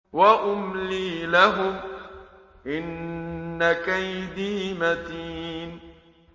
وَأُمْلِي لَهُمْ ۚ إِنَّ كَيْدِي مَتِينٌ